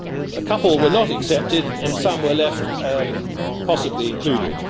A couple were not accepted, and some were left possibly included.